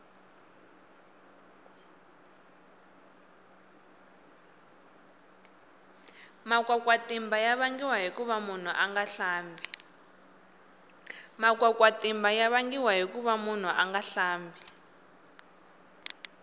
makwakwatima ya vangiwa hikuva munhu anga hlambi